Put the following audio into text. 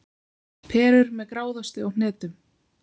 Perur með gráðosti og hnetum